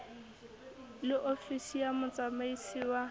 le ofisi ya motsamaisi wa